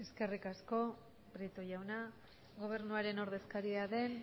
eskerrik asko prieto jauna gobernuaren ordezkaria den